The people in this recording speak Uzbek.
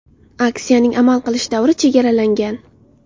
Aksiyaning amal qilish davri chegaralangan.